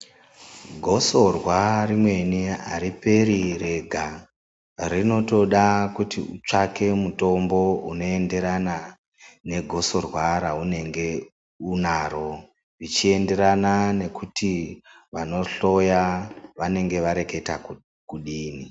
Gosorwa rimweni hariperi rega, rinotoda kuti utsvake mitombo unoenderana negosorwa raunenge unaro. Zvichienderana nekuti vanohloya vanenge vareketa kuti kudini.